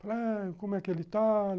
Falei ah, como é que ele está?